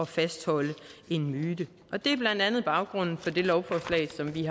fastholde en myte det er blandt andet baggrunden for det lovforslag som vi